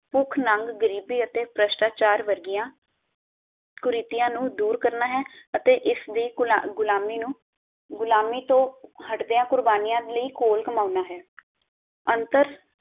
ਭੁੱਖ ਨੰਗ, ਗ਼ਰੀਬੀ ਅਤੇ ਭ੍ਰਿਸ਼ਟਾਚਾਰ ਵਰਗੀਆਂ ਕੁਰੀਤੀਆਂ ਨੂੰ ਦੂਰ ਕਰਨਾ ਹੈ ਅਤੇ ਇਸ ਦੀ ਗੁਲਾਮ ਗੁਲਾਮੀ ਨੂੰ ਗੁਲਾਮੀ ਤੋਂ ਹਟਦਿਆਂ ਕੁਰਬਾਨੀਆਂ ਦੀ ਲਈ ਘੋਲ ਕਮਾਉਣਾ ਹੈ ਅੰਤਰ